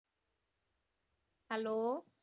hello